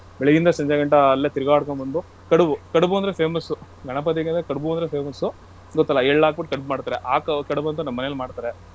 ಬೆಳಿಗ್ಗೆಯಿಂದ ಸಂಜೆಗಂಟ ಅಲ್ಲೇ ತಿರುಗಾಡುಕೊಂಡು ಬಂದು ಕಡುಬು , ಕಡುಬು ಅಂದ್ರೆ famous ಗಣಪತಿಗೆ ಕಡ್ಬು ಅಂದ್ರೆ famous ಉ ಗೊತ್ತಲ್ಲಾ ಎಳ್ ಹಾಕ್ಬುಟ್ ಕಡ್ಬು ಮಾಡ್ತಾರೆ. ಆ ಕಡ್ಬಂತು ನಮ್ಮನೆಲ್ ಮಾಡ್ತಾರೆ.